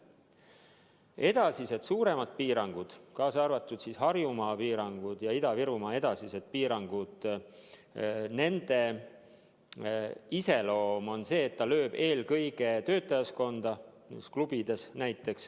Edasised suuremad piirangud, kaasa arvatud Harjumaa piirangud ja Ida-Virumaa piirangud – nende iseloomulik joon on see, et need löövad eelkõige töötajaskonda, näiteks klubides.